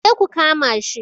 Ku je ku kama shi!